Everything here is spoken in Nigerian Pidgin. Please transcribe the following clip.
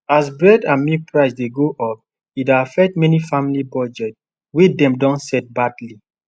as bread and milk price dey go up e dey affect many family budget wey dem don set badly